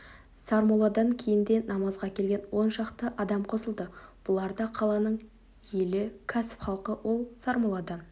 сармолладан кейін де намазға келген оншақты адам қосылды бұлар да қаланың елі кәсіп халқы ол сармолладан